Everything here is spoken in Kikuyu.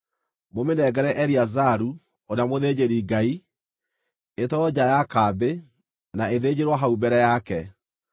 Mũmĩnengere Eleazaru, ũrĩa mũthĩnjĩri-Ngai; ĩtwarwo nja ya kambĩ, na ĩthĩnjĩrwo hau mbere yake.